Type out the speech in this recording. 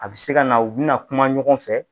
A bi se ka na u bina kuma ɲɔgɔn fɛ.